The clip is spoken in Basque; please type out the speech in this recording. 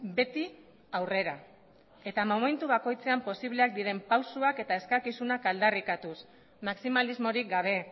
beti aurrera eta momentu bakoitzean posibleak diren pausuak eta eskakizunak aldarrikatuz maximalismorik gabe